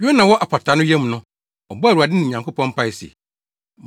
Yona wɔ apataa no yam no, ɔbɔɔ Awurade ne Nyankopɔn mpae se,